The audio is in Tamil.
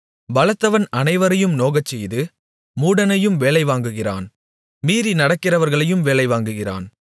பலத்தவன் அனைவரையும் நோகச்செய்து மூடனையும் வேலைவாங்குகிறான் மீறி நடக்கிறவர்களையும் வேலைவாங்குகிறான்